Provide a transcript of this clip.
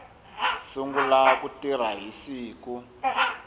sungula ku tirha hi siku